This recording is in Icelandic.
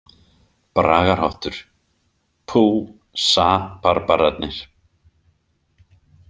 Bragarhátttur: „Pú Sa- barbararnir“.